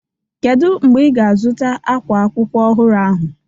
Kedu mgbe ị ga-azụta ákwá akwụkwọ ọhụrụ ahụ?